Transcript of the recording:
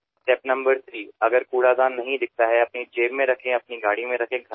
तिसरा टप्पा म्हणजे कचरापेटी दिसत नसेल तर कचरा आपल्या खिशात ठेवावा किंवा आपल्या गाडीमध्ये ठेवावा